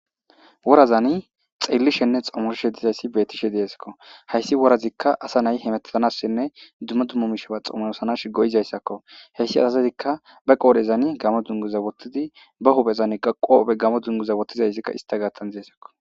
Worazani xelli shenne xoomoroshe dizayssi bettishe deesakko hayssi worazikka asa nay hematazanassenne dumma dummomishea xoomorosanash goyizayssakko heyssi asazezikka ba qoodhezani gamo dunguza wottidi ba huphezan qobe gamo dunguza wottizayssikka ista gaattan deysakko.